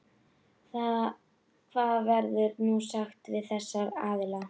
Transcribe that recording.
Hvað verður nú sagt við þessa aðila?